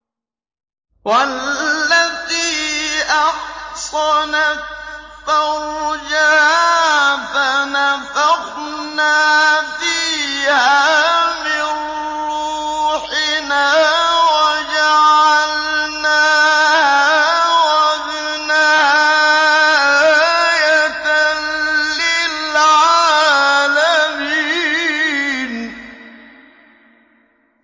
وَالَّتِي أَحْصَنَتْ فَرْجَهَا فَنَفَخْنَا فِيهَا مِن رُّوحِنَا وَجَعَلْنَاهَا وَابْنَهَا آيَةً لِّلْعَالَمِينَ